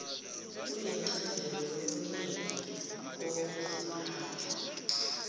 kuyincazelo yokuningi kokuziphatha